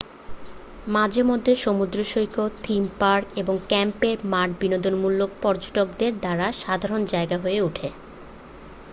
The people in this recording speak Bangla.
মাঝে মধ্যে সমুদ্রসৈকত থিম পার্ক এবং ক্যাম্পের মাঠ বিনোদনমূলক পর্যটকদের দ্বারা সাধারণ জায়গা হয়ে ওঠে